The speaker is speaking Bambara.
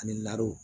Ani naro